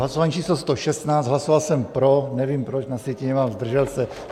Hlasování číslo 116, hlasoval jsem pro, nevím proč, na sjetině mám zdržel se.